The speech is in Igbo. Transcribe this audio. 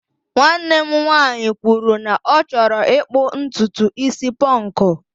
nwanne m nwanyị kwuru na ọ chọrọ ịkpụ ntutu isi ponku